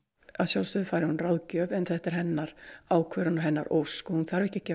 að sjálfsögðu fær hún ráðgjöf en þetta er hennar ákvörðun og hennar ósk og hún þarf ekki að gefa